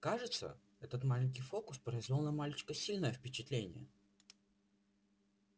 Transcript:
кажется этот маленький фокус произвёл на мальчика сильное впечатление